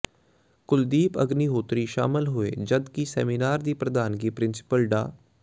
ਕੁਲਦੀਪ ਅਗਨੀਹੋਤਰੀ ਸ਼ਾਮਲ ਹੋਏ ਜਦਕਿ ਸੈਮੀਨਾਰ ਦੀ ਪ੍ਧਾਨਗੀ ਪ੍ਰਿੰਸੀਪਲ ਡਾ